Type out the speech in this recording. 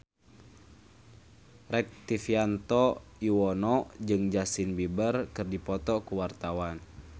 Rektivianto Yoewono jeung Justin Beiber keur dipoto ku wartawan